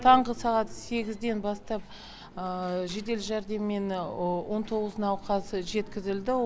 таңғы сағат сегізден бастап жедел жәрдеммен он тоғыз науқас жеткізілді